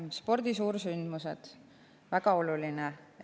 Spordi suursündmused on väga olulised.